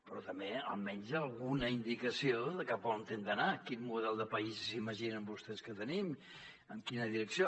però també almenys alguna indicació de cap a on hem d’anar quin model de país s’imaginen vostès que tenim en quina direcció